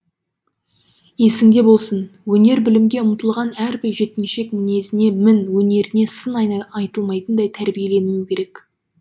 есіңде болсын өнер білімге ұмтылған әрбір жеткіншек мінезіне мін өнеріне сын айтылмайтындай тәрбиеленуі керек